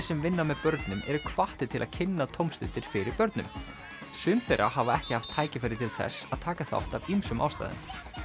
sem vinna með börnum eru hvattir til að kynna tómstundir fyrir börnum sum þeirra hafa ekki haft tækifæri til þess að taka þátt af ýmsum ástæðum